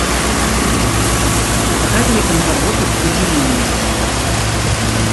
показывай киноработу удиви меня